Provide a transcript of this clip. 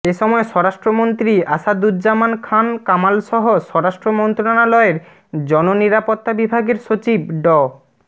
এ সময় স্বরাষ্ট্রমন্ত্রী আসাদুজ্জামান খাঁন কামালসহ স্বরাষ্ট্র মন্ত্রণালয়ের জননিরাপত্তা বিভাগের সচিব ড